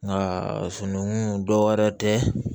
Nka sunukunnun dɔw wɛrɛ tɛ